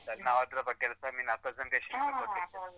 ನಾವ್ ಅದ್ರ ಬಗ್ಗೆ seminar presentation ಎಲ್ಲಾ ಕೊಡ್ಲಿಕ್ .